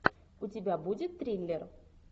у тебя будет триллер